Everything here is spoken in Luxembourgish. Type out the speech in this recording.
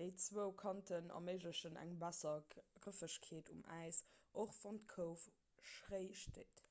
déi zwou kanten erméiglechen eng besser grëffegkeet um äis och wann d'kouf schréi steet